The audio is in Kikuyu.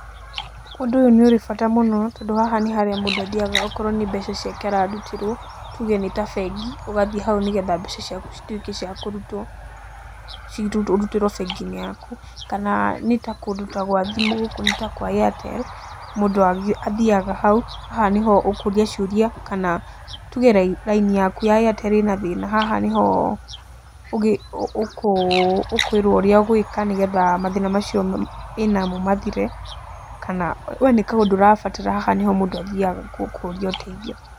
Ũndũ ũyũ nĩ ũrĩ bata mũno, tondũ haha nĩ harĩa mũndũ athiaga okorwo nĩ mbeca ciake ararutĩrwo, tuge nĩ ta bengi ũgathiĩ hau nĩgetha mbeca ciaku cituĩke cia kũrutwo, ũrutĩrwo bengi-inĩ yaku, kana nĩ ta kũndũ ta gwa thimũ, gũkũ nĩ ta kwa Airtel, mũndũ athiaga hau, haha nĩho ũkũria ciũria, kana tuge raini taku ya Airtel ĩna thĩna haha nĩho ũkũĩrwo ũria ũgwĩka, nĩgetha mathĩna macio wĩ namo mathire, kana we nĩ kaũndũ ũrabatara haha nĩho mũndũ athiaga kũũria ũtheithio.